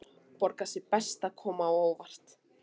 Borgar sig best að koma á óvart.